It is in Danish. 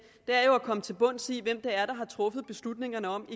jo er at komme til bunds i hvem der har truffet beslutningerne om